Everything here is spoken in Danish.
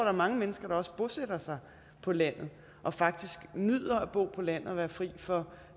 er mange mennesker der også bosætter sig på landet og faktisk nyder at bo på landet og være fri for